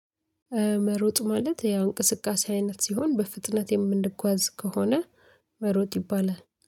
መሮጥ ማለት ያ እንቅስቃሴ አይነት ሲሆን በፍጥነት የምንጓዝ ከሆነ መሮጥ ይባላል